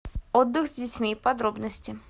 отдых с детьми подробности